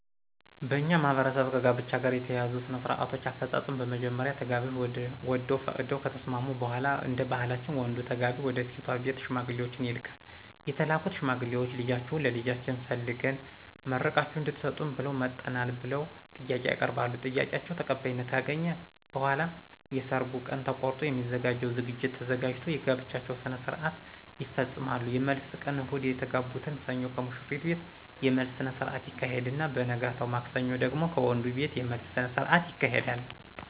በእኛ ማህበረሰብ ከጋብቻ ጋር የተያያዙ ሥነ -ስርአቶች አፈጻጸም በመጀመሪያ ተጋቢዎች ወደው ፈቅደው ከተስማሙ በሗላ እደባህላችን ወንዱ ተጋቢ ወደሴቷ ቤት ሽማግሌዎችን ይልካል የተላኩት ሽማግሌዎች ልጃችሁን ለልጃችን ፈልገን መርቃችሁ እድትሰጡን ብለን መጠናል ብለው ጥያቄ ያቀርባሉ ጥያቄአቸው ተቀባይነት ካገኘ በሗላ የየሰርጉ ቀን ተቆርጦ የሚዘጋጀው ዝግጅት ተዘጋጅቶ የጋብቻቸውን ስርአት ይፈጾማሉ የመልስ ቀን እሁድ የተጋቡትን ሰኞ ከሙሽሪት ቤት የመልስ ስነስረአት ይካሄድና በነገታው ማክሰኞ ደግሞ ከወንዱቤት የመልስ ስነስርአት ይካሄዳል።